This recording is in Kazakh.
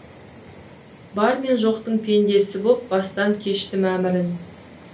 бар мен жоқтың пендесі боп бастан кештім әмірін